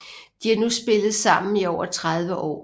De har nu spillet sammen i over 30 år